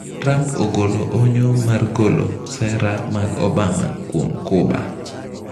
Trump ogolo onyo mar golo sera mag Obama kuom Cuba.